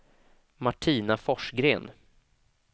Martina Forsgren